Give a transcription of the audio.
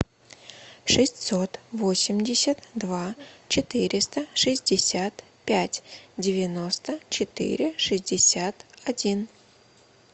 шестьсот восемьдесят два четыреста шестьдесят пять девяносто четыре шестьдесят один